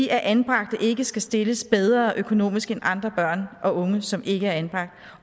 at anbragte ikke skal stilles bedre økonomisk end andre børn og unge som ikke er anbragt